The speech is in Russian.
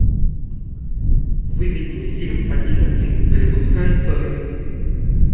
выведи мне фильм один один голливудская история